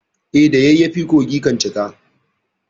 Eh, da yayyafi kogi kan cika.